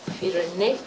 í rauninni